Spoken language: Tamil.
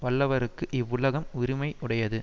வல்லவர்க்கு இவ்வுலகம் உரிமை உடையது